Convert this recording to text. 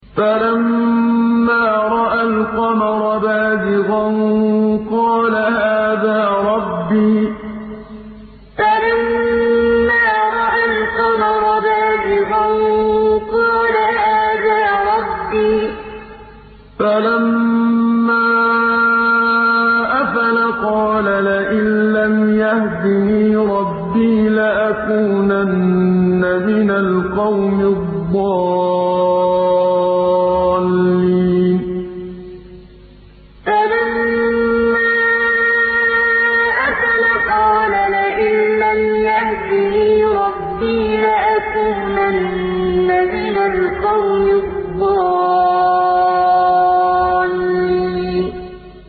فَلَمَّا رَأَى الْقَمَرَ بَازِغًا قَالَ هَٰذَا رَبِّي ۖ فَلَمَّا أَفَلَ قَالَ لَئِن لَّمْ يَهْدِنِي رَبِّي لَأَكُونَنَّ مِنَ الْقَوْمِ الضَّالِّينَ فَلَمَّا رَأَى الْقَمَرَ بَازِغًا قَالَ هَٰذَا رَبِّي ۖ فَلَمَّا أَفَلَ قَالَ لَئِن لَّمْ يَهْدِنِي رَبِّي لَأَكُونَنَّ مِنَ الْقَوْمِ الضَّالِّينَ